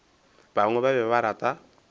bangwe ba be ba rata